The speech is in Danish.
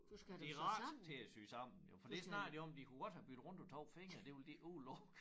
De rettet til at sy sammen jo for det snakkede de om de kunne godt have byttet rundt på 2 fingre det ville de ikke udelukke